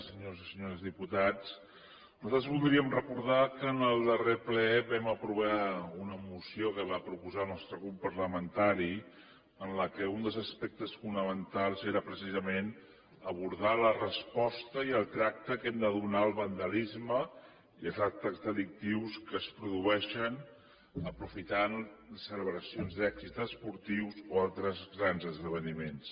senyors i senyores diputats nosaltres voldríem recordar que en el darrer ple vam aprovar una moció que va proposar el nostre grup parlamentari en què un dels aspectes fonamentals era precisament abordar la resposta i el tracte que hem de donar al vandalisme i els actes delictius que es produeixen aprofitant celebracions d’èxits esportius o altres grans esdeveniments